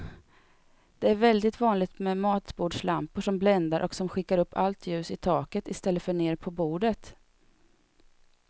Det är väldigt vanligt med matbordslampor som bländar och som skickar upp allt ljus i taket i stället för ner på bordet.